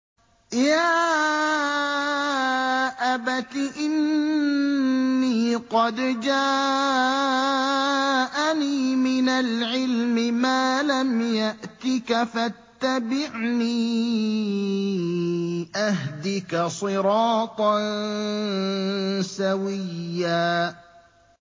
يَا أَبَتِ إِنِّي قَدْ جَاءَنِي مِنَ الْعِلْمِ مَا لَمْ يَأْتِكَ فَاتَّبِعْنِي أَهْدِكَ صِرَاطًا سَوِيًّا